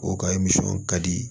O ka ka di